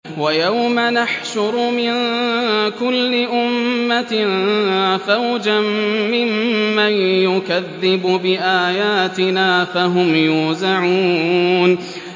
وَيَوْمَ نَحْشُرُ مِن كُلِّ أُمَّةٍ فَوْجًا مِّمَّن يُكَذِّبُ بِآيَاتِنَا فَهُمْ يُوزَعُونَ